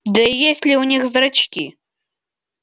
да и есть ли у них зрачки